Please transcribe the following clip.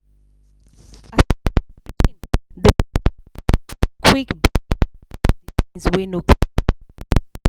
wey no